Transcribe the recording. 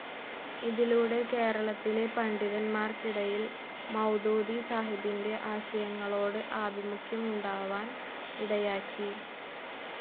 ഇതിലൂടെ കേരളത്തിലെ പണ്ഡിതന്മാർക്കിടയിൽ മൗദൂദി സാഹിബിന്റെ ആശയങ്ങളോട് ആഭിമുഖ്യമുണ്ടാവാൻ ഇടയാക്കി.